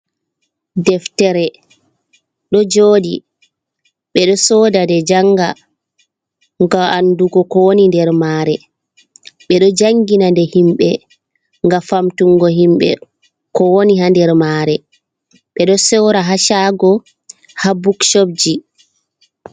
Deftere do jodi bedo soda de janga ga’andugo ko woni nder mare be do jangina de himbe ga famtungo himbe ko woni ha nder mare bedo sowra hacagoji ha buksobji.